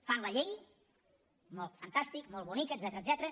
fan la llei molt fantàstic molt bonic etcètera